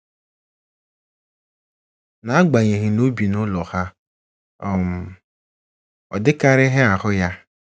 Na agbanyeghị na o bi n'ụlọ ha, um ọdịkarịghị ahụ ya.